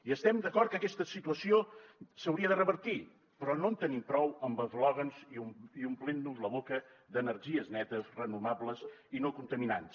i estem d’acord que aquesta situació s’hauria de revertir però no en tenim prou amb eslògans ni omplint nos la boca d’energies netes renovables i no contaminants